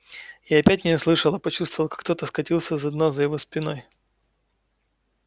и опять не услышала почувствовала как кто-то скатился на дно за его спиной